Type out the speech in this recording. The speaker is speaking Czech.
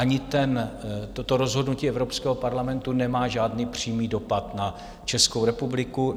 Ani toto rozhodnutí Evropského parlamentu nemá žádný přímý dopad na Českou republiku.